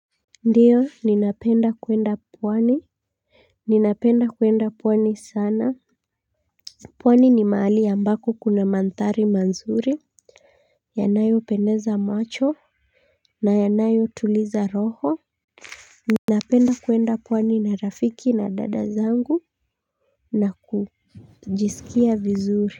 Ndiyo ninapenda kwenda pwani. Ninapenda kwenda pwani sana. Pwani ni mahali ambako kuna mandhari manzuri. Yanayopendeza macho, na yanayotuliza roho. Ninapenda kwenda pwani na rafiki na dada zangu, na kujisikia vizuri.